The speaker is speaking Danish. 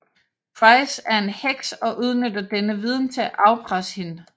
Price er en heks og udnytter denne viden til at afpresse hende